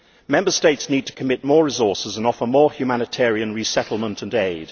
Member States need to commit more resources and offer more humanitarian resettlement and aid.